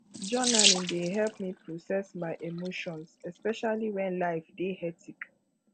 journaling dey help me process my emotions especially when life dey hectic